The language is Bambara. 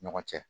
Ɲɔgɔn cɛ